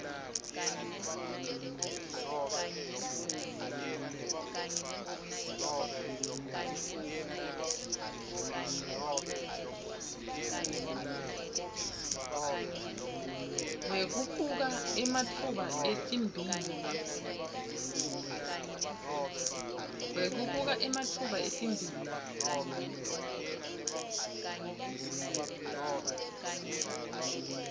wekubuka ematfuba etimbiwa